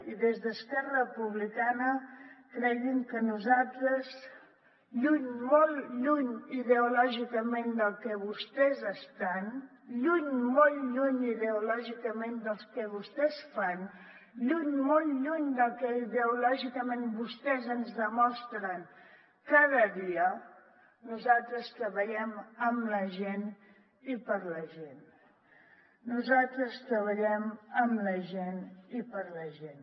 i des d’esquerra republicana cregui’m que nosaltres lluny molt lluny ideològicament del que vostès estan lluny molt lluny ideològicament del que vostès fan lluny molt lluny del que ideològicament vostès ens demostren cada dia nosaltres treballem amb la gent i per a la gent nosaltres treballem amb la gent i per a la gent